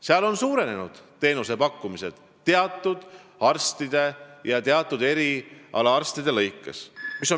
Seal on teenusepakkumine teatud arstide puhul ja teatud erialadel suurenenud.